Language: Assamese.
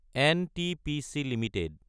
NTPC Ltd